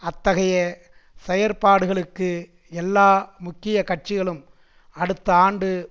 அத்தகைய செயற்பாடுகளுக்கு எல்லா முக்கிய கட்சிகளும் அடுத்த ஆண்டு